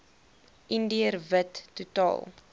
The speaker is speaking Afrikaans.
indiër wit totaal